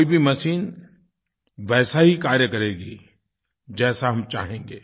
कोई भी मशीन वैसा ही कार्य करेगी जैसा हम चाहेंगे